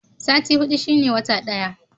Sati hudu shine wata ɗaya.